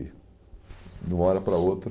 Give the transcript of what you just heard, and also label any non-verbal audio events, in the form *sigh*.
*unintelligible* De uma hora para outra.